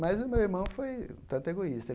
Mas o meu irmão foi um tanto egoísta.